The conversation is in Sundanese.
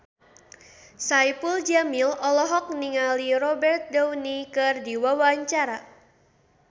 Saipul Jamil olohok ningali Robert Downey keur diwawancara